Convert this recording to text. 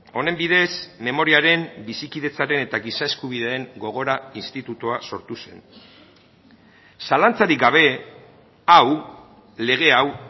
honen bidez memoriaren bizikidetzaren eta giza eskubideen gogora institutua sortu zen zalantzarik gabe hau lege hau